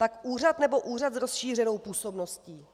Tak úřad, nebo úřad s rozšířenou působností?